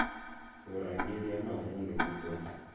vhurangeli ha mavundu vhu do